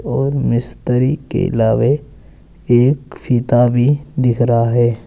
और मिस्त्री के अलावे एक फीता भी दिख रहा है।